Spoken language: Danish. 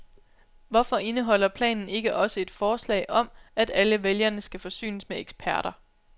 Hvorfor indeholder planen ikke også et forslag om, at alle vælgerne skal forsynes med eksperter?